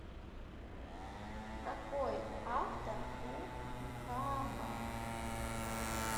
какой автор у кааба